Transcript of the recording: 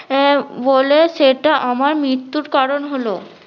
এ বলে সেটা আমার মৃত্যুর কারণ হলো